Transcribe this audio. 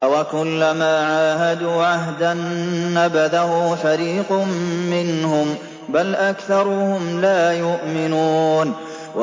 أَوَكُلَّمَا عَاهَدُوا عَهْدًا نَّبَذَهُ فَرِيقٌ مِّنْهُم ۚ بَلْ أَكْثَرُهُمْ لَا يُؤْمِنُونَ